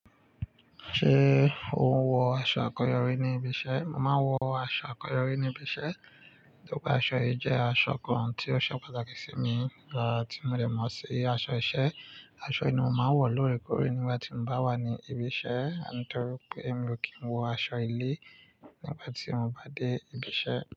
Ṣé o ń wọ aṣọ akọ̀yori ní ibi iṣẹ́? Mo máa ń wọ aṣọ akọ̀yori ní ibi iṣẹ́, nítorí pé aṣọ yìí jẹ́ aṣọ kan tí ó ṣe pàtàkì sí mi, tí mo dẹ̀ mọ̀ sí i. Aṣọ iṣẹ́, aṣọ yìí ni mo máa ń wọ̀ lórèkórè nígbà tí mo bá wà ní ibi iṣẹ́, nítorí pé èmi ò kí ń wọ aṣọ ilé nígbà tí mo bá dé ibi iṣẹ́.